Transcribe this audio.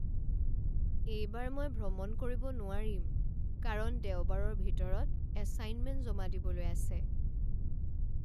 এইবাৰ মই ভ্ৰমণ কৰিব নোৱাৰিম কাৰণ দেওবাৰৰ ভিতৰত এচাইনমেণ্ট জমা দিবলৈ আছে।